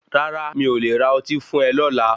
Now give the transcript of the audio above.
Rárá mi o le ra ọtí fún e lọla.